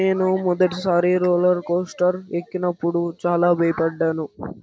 నేను మొదటి సరి రోలరు కొస్టర్ ఎక్కినప్పుడు చాలా భయపడ్డాను.